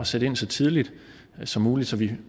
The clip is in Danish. sætte ind så tidligt som muligt så vi